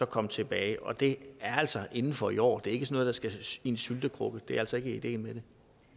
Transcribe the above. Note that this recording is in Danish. komme tilbage og det er altså inden for i år det er ikke noget der skal i en syltekrukke det er altså ikke ideen